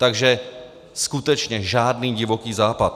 Takže skutečně žádný Divoký západ.